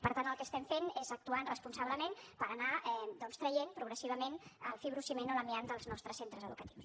per tant el que estem fent és actuar responsablement per anar doncs traient progressivament el fibrociment o l’amiant dels nostres centres educatius